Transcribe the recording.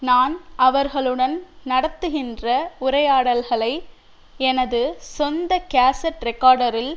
நான் அவர்களுடன் நடத்துகின்ற உரையாடல்களை எனது சொந்த கேசட் ரிகார்டரில்